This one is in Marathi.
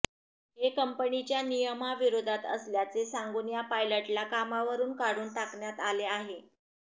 हे कंपनीच्या नियमाविरोधात असल्याचे सांगून या पायलटला कामावरून काढून टाकण्यात आले आहे